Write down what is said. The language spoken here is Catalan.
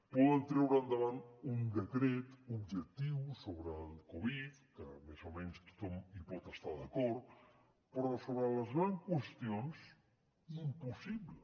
poden treure endavant un decret objectius sobre el covid que més o menys tothom hi pot estar d’acord però sobre les grans qüestions impossible